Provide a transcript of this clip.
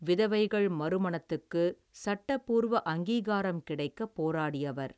விதவைகள் மறுமணத்துக்கு சட்டபூர்வ அங்கீகாரம் கிடைக்க போராடியவர்.